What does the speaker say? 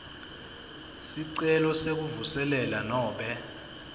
sicelo sekuvuselela nobe